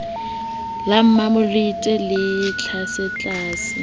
la mmamolete le le tlasetlase